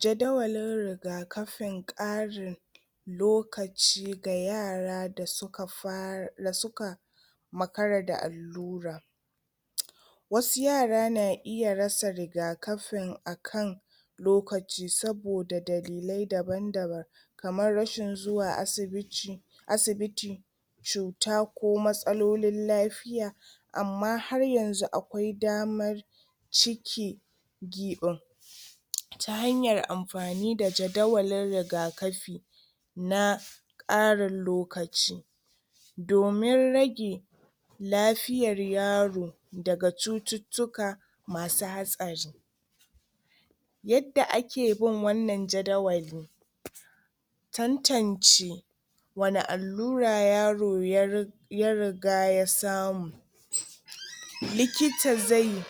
Jadawalin rigakafin ƙarin lokaci ga yara da suka fara makara da allura wasu yara na rasa rigakafin akan lokaci saboda dalilai daban-daban kamar rashin zuwa asibiti cuta ko matsalolin lafiya amma har yanzu akwai dama cike giɓin ta hanyar amfani da jadawalin rigakafin na karin lokaci domin rage lafiyar yaro daga cututtuka masu hatsari yadda ake bin wannan jadawalin tantance wane allura yaro ya riga ya samu likita zai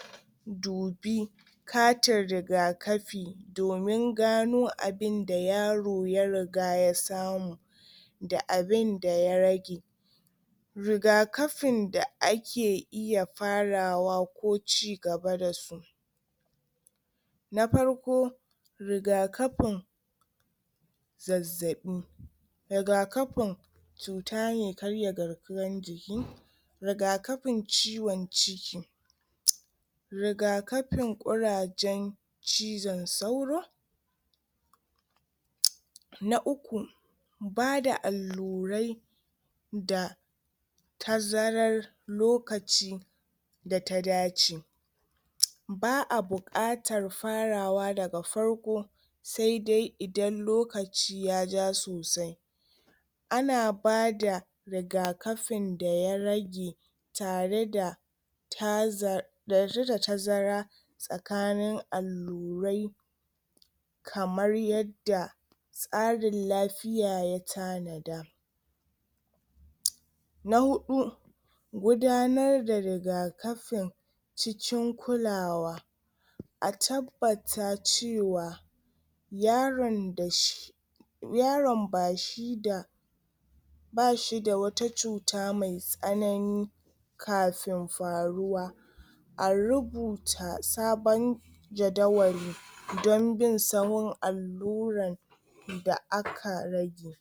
dubi katin rigakafin domin gano abunda yaro ya riga ya samu da abunda ya rage rigakafin da ake iya farawa ko cigaba da su na farko rigakafin zazzaɓi rigakafin cuta me karya garkuwan jiki rigakafin cion ciki rigakafin kurajen cizon sauro na uku bada allurai da tazarar lokaci da ta dace ba'a bukatar farawa daga farko sai dai idan lokaci ya ja sosai ana bada rigakafin da ya rage tare da tazara tsakanin allurai kamar yadda tsarin lafiya ya tanada na hudu gudanar da rigakafin cikin kulawa a tabbata cewa yaron da zai yaron bashida bashida wata cuta me tsanani kafin faruwa a rubuta sabon sabon jadawali don bin saura da aka rage